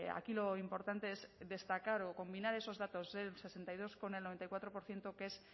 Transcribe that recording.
aquí lo importante es destacar o combinar esos datos ese sesenta y dos con el noventa y cuatro por ciento que es